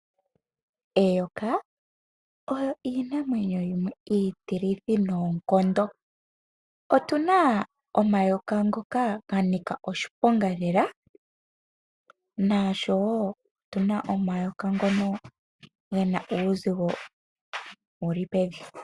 Eyoka olyo oshinamwenyo shono oshitilithi noonkondo. Otu na omayoka ngoka ga nika oshiponga lela ,nosho woo otu na ngono ge na uuzigo uushona.